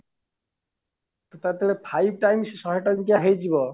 ଯେତେବେଳେ ତାର five times ଶହେ ଟଙ୍କିଆ ହେଇଯିବ